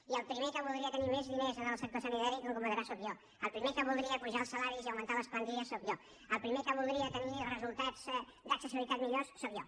i el primer que voldria tenir més diners en el sector sanitari com comprendrà sóc jo el primer que voldria apujar els salaris i augmentar les plantilles sóc jo el primer que voldria tenir resultats d’accessibilitat millors sóc jo